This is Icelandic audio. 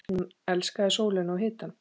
Hún elskaði sólina og hitann.